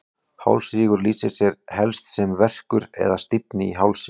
Hálsrígur lýsir sér helst sem verkur eða stífni í hálsi.